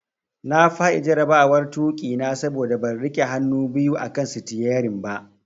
Na fadi jarabawar tuki na saboda ban rike hannu biyu akan sitiyarin ba.